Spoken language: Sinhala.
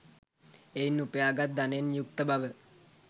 එයින් උපයා ගත් ධනයෙන් යුක්ත බව